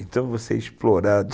Então, você é explorado.